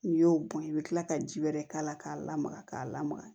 N'i y'o bɔn i bi kila ka ji wɛrɛ k'a la k'a lamaga k'a lamaga